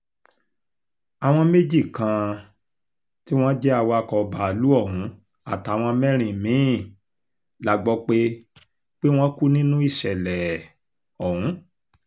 àwọn méjì kan um tí wọ́n jẹ́ awakọ̀ báàlúù ọ̀hún àtàwọn mẹ́rin mí-ín la gbọ́ pé pé wọ́n kú nínú ìṣẹ̀lẹ̀ um ọ̀hún